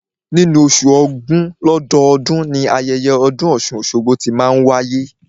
Nínú oṣù ògún lọ́dọọ́dun, ni ayẹyẹ ọdún ọ̀ṣun-oṣogbo tí máa n wáyé